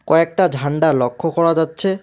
কয়েকটা ঝান্ডা লক্ষ করা যাচ্ছে।